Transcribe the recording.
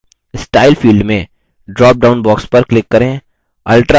style field में dropdown box पर click करें